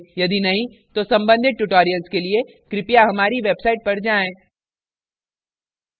यदि नहीं तो सम्बंधित tutorials के लिए कृपया हमारी website पर जाएँ